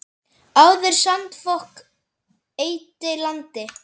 Áður sandfok eyddi landi.